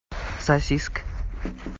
сосиска